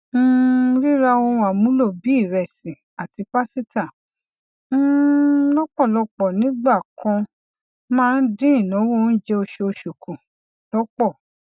um rírá ohun amúlò bíi ìrẹsì àti pasíta um lọpọlọpọ nígbà kan máa ń dín ináwó oúnjẹ oṣooṣu kù lọpọ